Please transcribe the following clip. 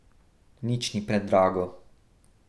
Nič ni predrago.